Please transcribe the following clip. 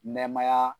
Nɛɛmaya